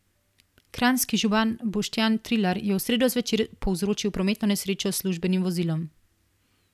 Kranjski župan Boštjan Trilar je v sredo zvečer povzročil prometno nesrečo s službenim vozilom.